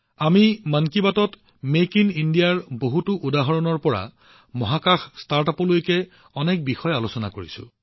আমি মন কী বাতত মেক ইন ইণ্ডিয়াৰ পৰা মহাকাশ ষ্টাৰ্টআপলৈকে বহুতো কথা আলোচনা কৰিছো